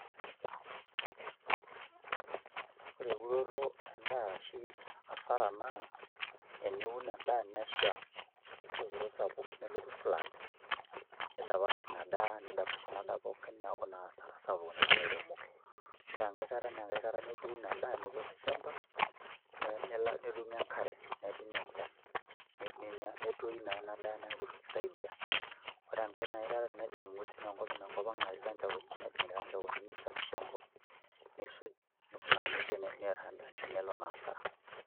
Ore euroto edaa asara naa teniun edaa nesha olopiro sapuk, nelotu flood. nidapash Ina daa. neeku naa sapuk ena toolairemok, ore enkae kata nituunu edaa, nipik olchampa, nedungo enkare, nedungo enchan, metoyu naa Ina daa, neeku eitu kisaidia. ore enkae kata tenejing inguesin enkop, nejing ilkachaoni nisagisha enkop nisuj, nikunaaa nejia nelo naa asara.